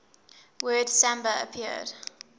word samba appeared